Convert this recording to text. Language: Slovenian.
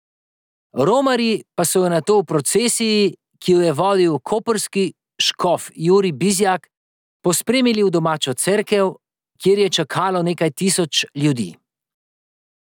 Romarji pa so jo nato v procesiji, ki jo je vodil koprski škof Jurij Bizjak, pospremili v domačo cerkev, kjer je čakalo nekaj tisoč ljudi.